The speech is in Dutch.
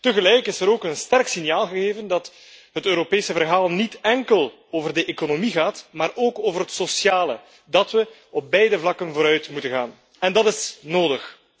Tegelijk is er ook een sterk signaal gegeven dat het Europese verhaal niet enkel over de economie gaat, maar ook over het sociale, dat we op beide vlakken vooruit moeten gaan. En dat is nodig.